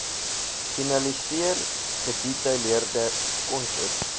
finaliseer gedetailleerde konsep